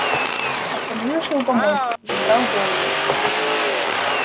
остановился у помойки задрал голову